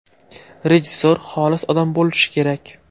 Rejissor xolis odam bo‘lishi kerak.